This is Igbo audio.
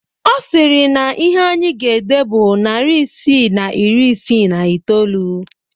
Ọ sịrị na ihe anyị ga-ede bụ narị isii na iri isii na iteolu